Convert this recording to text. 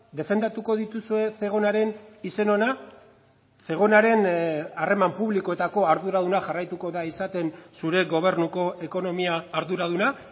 defendatuko dituzue zegonaren izen ona zegonaren harreman publikoetako arduraduna jarraituko da izaten zure gobernuko ekonomia arduraduna